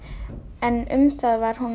en um það var hún